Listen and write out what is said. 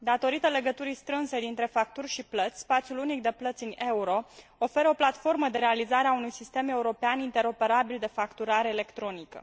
Datorită legăturii strânse dintre facturi și plăți, spațiul unic de plăți în euro oferă o platformă de realizare a unui sistem european interoperabil de facturare electronică.